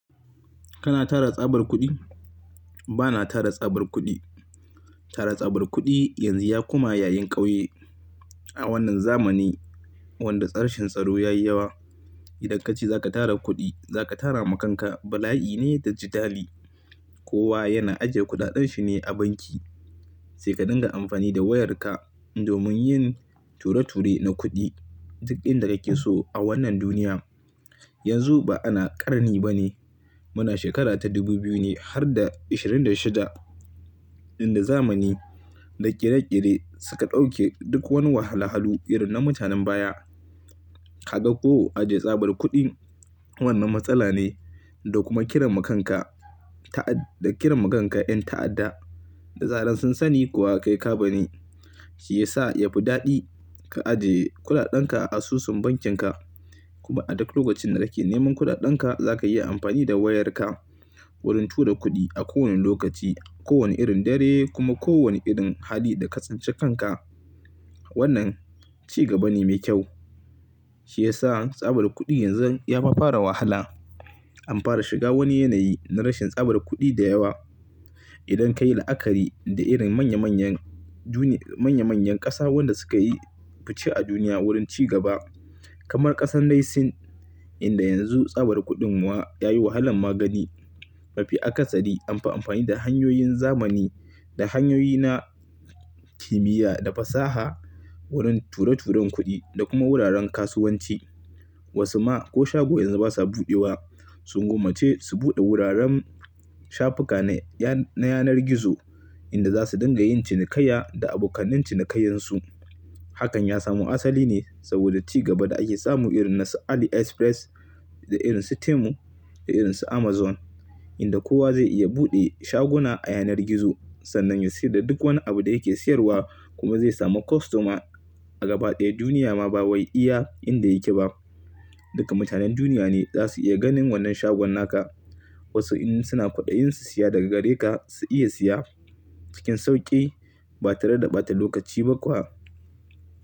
Kana tara tsabar kuɗi? Bana tara tsabar kuɗi. Tara tsabar kuɗi yanzu ya koma yayin ƙauye. A wannan zamani, wanda rashin tsaro ya yi yawa. Idan kace zaka tara kuɗi, zaka tara ma kanka bala'i ne da jidali. Kowa yana ajiye kuɗaɗan shi ne a banki, sai ka dinga amfani da wayarka, domin yin ture-ture na kuɗi, duk inda da kake so a wannan duniya. Yanzu ba ana ƙarni ba ne. Muna shekara ta dubu biyu ne har da ishirin da shida, inda zamani da ƙere-ƙere suka ɗauke duk wani wahal-halu irin na mutanen baya. Kaga ko, ajiye tsabar kuɗi, wannan matsala ne, da kuma kiran ma kanka ta'a-da kiran ma kanka ƴan ta'adda. Da zarar sun sani kuwa kai ka ba ni, shi yasa yafi daɗi ka ajiye kuɗaɗanka a asusun bankinka, kuma a duk lokacin da kake neman kuɗaɗanka zaka iya amfani da wayarka wurin tura kuɗi, a kowane lokaci, kowane irin dare, kuma kowane irin hali da ka tsinci kanka. Wannan, ci gaba ne mai kyau. Shi yasa tsabar kuɗi yanzu ya ma fara wahala. An fara shiga wani yanayi na rashin tsabar kuɗi da yawa. Idan kayi la'akari da irin manya-manyan juna, manya-manyan ƙasa wanda suka yi fice a duniya wurin ci gaba, kamar ƙasar dai Sin, inda yanzu tsabar kuɗin wa yayi wahalan ma gani, mafi akasari, anfi amfani da hanyoyin zamani da hanyoyi na, kimiyya da fasaha, wurin ture-turen kuɗi, da kuma wuraren kasuwanci. Wasu ma, ko shago yanzu basa buɗewa. Sun gommace su buɗe wuraren shafuka na ya-na yanar gizo, inda za su dinga yin cinikayya da abokanan cinikayyan su. Hakan ya samo asali ne saboda ci gaba da ake samu irin na su Ali Express, da irin su Temu, da irin su Amazon inda kowa zai iya buɗe shaguna a yanar gizo, sannan ya saida duk wani abu da yake siyarwa, kuma zai samu kwastoma a gaba ɗaya duniya ma ba wai iya inda yake ba. Duka mutanen duniya ne zasu iya ganin wannan shagon naka. Wasu in suna kwaɗayin su siya daga gare ka, su iya siya cikin sauƙi ba tare da ɓata lokaci ba kuwa,